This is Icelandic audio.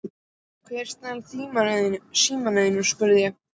Hver stal símanum þínum? spurði ég.